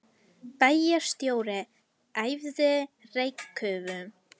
Bæjarstjóri æfði reykköfun